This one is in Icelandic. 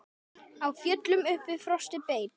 Á fjöllum uppi frostið beit.